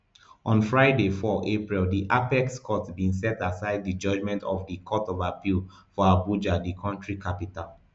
on friday four april di apex court bin set aside di judgement of di court of appeal for abuja di kontri capital